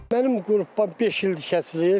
Mənim qrupdan beş ildir kəsilib.